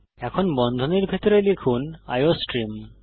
এখন বন্ধনীর ভিতরে লিখুন আইওস্ট্রিম